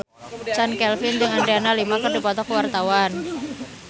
Chand Kelvin jeung Adriana Lima keur dipoto ku wartawan